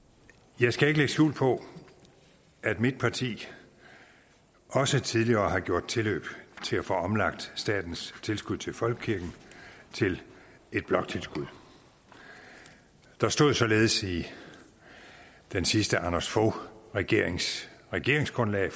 jeg skal ikke lægge skjul på at mit parti også tidligere har gjort tilløb til at få omlagt statens tilskud til folkekirken til et bloktilskud der stod således i den sidste anders fogh regerings regeringsgrundlag